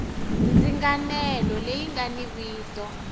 ndzinganelo leyi nga ni vito